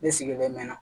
Ne sigilen mɛna